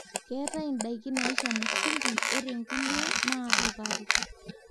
keetae ndaiki naishamu shumbi ore nkulie naa sukari